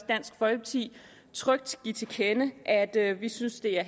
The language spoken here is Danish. dansk folkeparti trygt give til kende at at vi synes det er